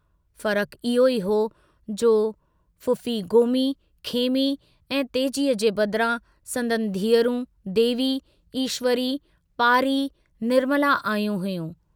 फर्कु इहो ई हो जो फुफी गोमी, खेमी ऐं तेजीअ जे बदिरां संदनि धीअरूं देवी, ईश्वरी, पारी, निर्मला आयूं हुयूं।